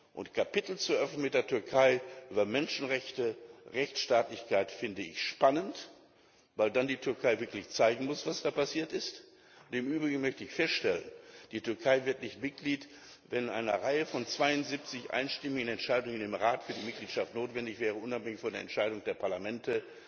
Türkei. Und Kapitel zu öffnen mit der Türkei über Menschenrechte und Rechtsstaatlichkeit, finde ich spannend, weil dann die Türkei wirklich zeigen muss, was da passiert ist. Im Übrigen möchte ich feststellen Die Türkei wird nicht Mitglied, wenn in einer Reihe von 72 einstimmigen Entscheidungen im Rat, die für die Mitgliedschaft notwendig wären, unabhängig von der Entscheidung der Parlamente